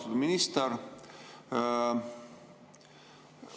Austatud minister!